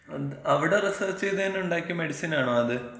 അത, അവ്ടെ റിസർച്ച് ചെയ്തെന്നെ ഉണ്ടാക്കിയ മെഡിസിനാണോ അത്?